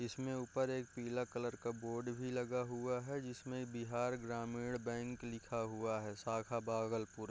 इसमें ऊपर एक पीला कलर का बोर्ड भी लगा हुआ है जिसमें बिहार ग्रामीण बैंक लिखा हुआ है शाखा भागलपुर।